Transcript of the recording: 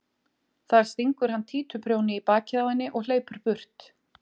Þar stingur hann títuprjóni í bakið á henni og hleypur burt.